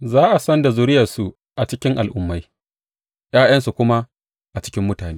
Za a san da zuriyarsu a cikin al’ummai ’ya’yansu kuma a cikin mutane.